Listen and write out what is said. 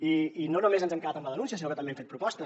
i no només ens hem quedat amb la denúncia sinó que també hem fet propostes